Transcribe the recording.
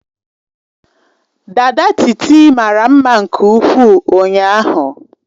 Dada Titi mara mma nke ukwuu ụnyaahụ.